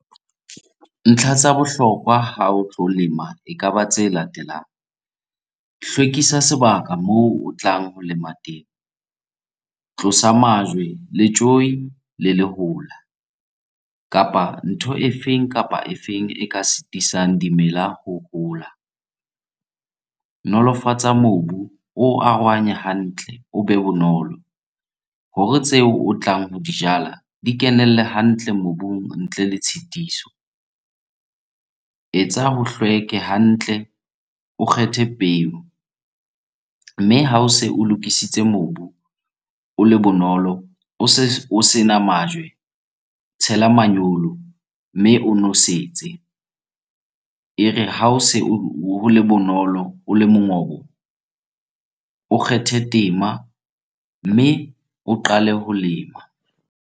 Ntlha tsa bohlokwa ha o tlo lema ekaba tse latelang. Hlwekisa sebaka moo o tlang ho lema teng, tlosa majwe, letjoi le lehola kapa ntho e feng kapa e feng e ka sitisang dimela ho hola. Nolofatsa mobu, o arohanye hantle, o be bonolo hore tseo o tlang ho di jala di kenelle hantle mobung ntle le tshitiso. Etsa ho hlweke hantle, o kgethe peo mme ha o se o lokisitse mobu, o le bonolo, o se o sena majwe, tshela manyolo mme o nosetse. E re ha o se o le bonolo, o le mongobo, o kgethe tema mme o qale ho lema.